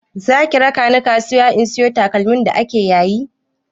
Zaki raka ni kasuwa in sayo takalmi da ake yayi?